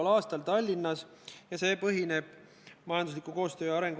Lugupeetud kolleegid, juhatus arutas ettepanekut, kas katkestada eelnõu 47 teine lugemine.